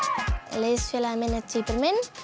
liðsfélagi minn er tvíburi minn